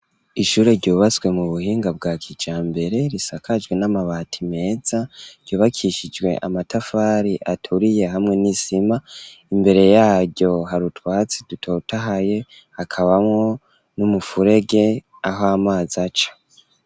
Ishure, ryubatswe mu buhinga, bwa kijambere, risakajwe, n'amabati meza, ryubakishijwe, amatafari aturiye, hamwe n'isima; imbere yaryo, hari utwatsi, dutotahaye, hakabamwo, n'umufurege, aho amazi aca.